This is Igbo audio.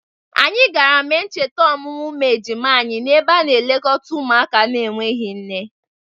Anyị gara mee ncheta ọmụmụ ụmụ ejima anyị n'ebe a na-elekọta ụmụaka na-enweghi nne.